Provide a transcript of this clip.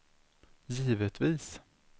givetvis